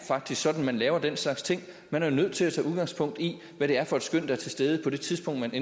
sådan man laver den slags ting man er jo nødt til at tage udgangspunkt i hvad det er for et skøn der er til stede på det tidspunkt